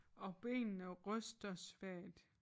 Og benene ryster svagt